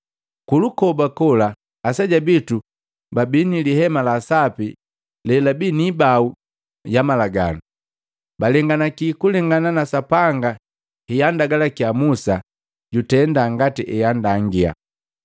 “Kulukoba kola aseja bitu babii lihema la sapi lelabii ni ibau ya malaganu. Balenganaki kulengana na Sapanga heandagalakya Musa jutenda ngati eandangia.